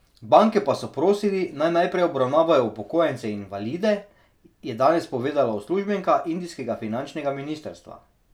Banke pa so prosili, naj najprej obravnavajo upokojence in invalide, je danes povedala uslužbenka indijskega finančnega ministrstva.